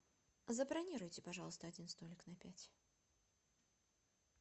забронируйте пожалуйста один столик на пять